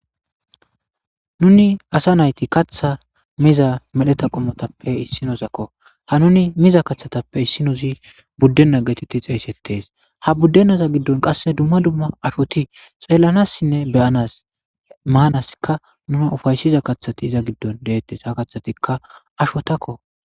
Nuni asa nayti katha miza medheta qommotappe issino ha nuni miza kaththatappe issinozi buddenna geetetti xeessettees ha buddennaza giddon qasse dumma dumma ashoti xeellanassinne beyanas maanasayka nuna ufaysiza kaththati iza giddon deettes ha kathatikka ashotakko.